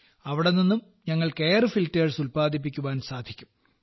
അവിടെ നിന്നും ഞങ്ങൾക്ക് എയർ ഫിൽട്ടേഴ്സ് ഉല്പാദിപ്പിക്കുവാൻ സാധിക്കും